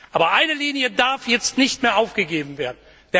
Aber eine Linie darf jetzt nicht mehr aufgegeben werden.